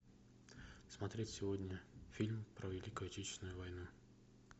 смотреть сегодня фильм про великую отечественную войну